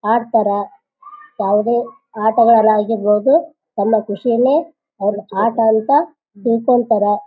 ಆಡ್ತಾರ ಯಾವದೇ ಆಟಗಳ ಆಗಿರ್ಬಹುದು ತನ್ನ ಕುಶಿಯಲ್ಲೇ ಅವರ ಆಟ ಅಂತ ತಿಳ್ಕೊಂತಾರ.